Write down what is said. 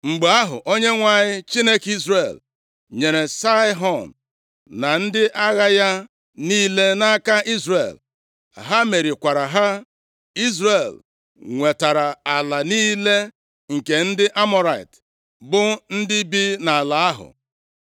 “Mgbe ahụ, Onyenwe anyị, Chineke Izrel nyere Saịhọn na ndị agha ya niile nʼaka Izrel. Ha merikwara ha. Izrel nwetara ala niile nke ndị Amọrait, bụ ndị bi nʼala ahụ.